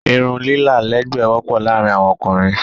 Irun lilá lẹ́ẹ̀gbẹ́ wọ́pọ̀ láàrin awọn ókúnrin